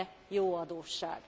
Van e jó adósság?